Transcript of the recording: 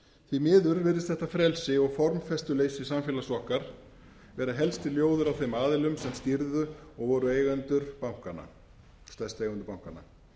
því miður virðist átt frelsi og formfestuleysi samfélags okkar vera helsti ljóður á þeim aðilum sem stýrðu og voru stærstu eigendur bankanna